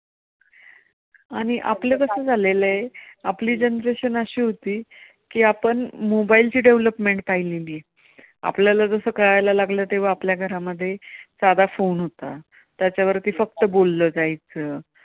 आणि आपलं कसं झालेलं आहे. आपली generation अशी होती की आपण mobile ची development पाहिलेली आहे, आपल्याला जसं कळायला लागलं आपल्या घरांमध्ये साधा phone होता. त्याच्यावरती फक्त बोललं जायचं.